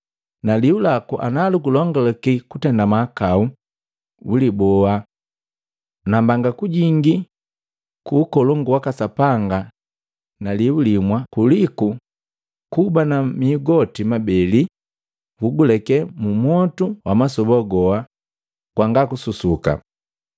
Na liu laku lukulongulake kutenda mahakau uliboa boa! Na mbanga kujingi ku Ukolongu waka Sapanga na liu limwa kuliku kuba na mihu goti mabeli nu kuguleke mumwotu wamasoba goa ngwanga kususuka.